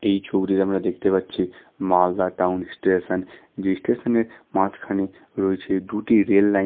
এই ছবিটিতে আমরা দেখতে পাচ্ছি মালদা টাউন স্টেশন যেই স্টেশন -এর মাঝখানে রয়েছে দুটি রেল লাইন --